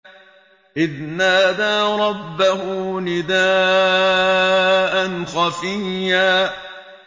إِذْ نَادَىٰ رَبَّهُ نِدَاءً خَفِيًّا